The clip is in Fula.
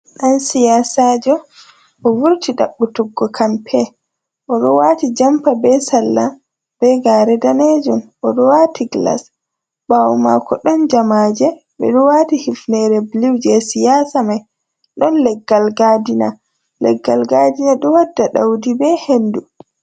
Dan siyasajo: O vurti dabbutuggo campaign. Odo wati jompa be sarla be gare danejum, odo wati glass. Bawo mako don jamaje bedo wati hifnere blue je siyasa mai. Don leggal gadina; leggal gadina do wadda daudi be hendu.